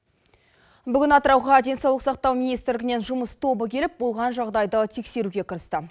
бүгін атырауға денсаулық сақтау министрлігінен жұмыс тобы келіп болған жағдайды тексеруге кірісті